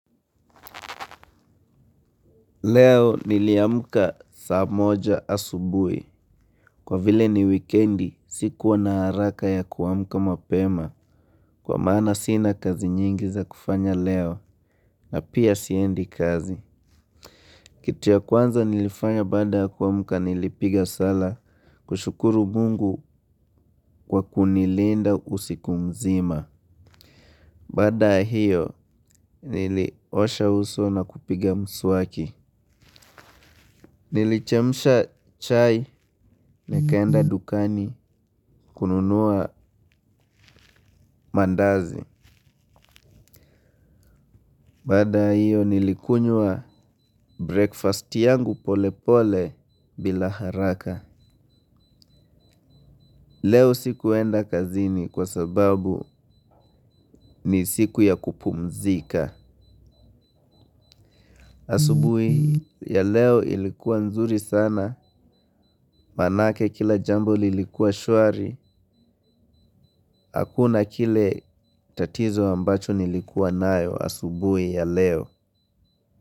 Leo niliamka saa moja asubuhi. Kwa vile ni wikendi, sikuwa na haraka ya kuamka mapema. Kwa maana sina kazi nyingi za kufanya leo. Na pia siendi kazi. Kitu ya kwanza nilifanya baada ya kuamka nilipiga sala. Kushukuru Mungu kwa kunilinda usiku mzima. Baada ya hiyo, niliosha uso na kupiga mswaki. Nilichemsha chai nikaenda dukani kununua mandazi. Baada ya hiyo nilikunywa breakfast yangu pole pole bila haraka. Leo sikuenda kazini kwa sababu ni siku ya kupumzika. Asubuhi ya leo ilikuwa nzuri sana. Manake kila jambo lilikuwa shwari. Hakuna kile tatizo ambacho nilikuwa nayo asubuhi ya leo.